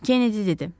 Kenedi dedi.